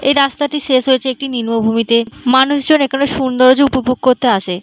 এই রাস্তাটি শেষ হয়েছে একটি নিম্নভূমি তে। মানুষ জন এখানে সৌন্দর্য উপভোগ করতে আসে ।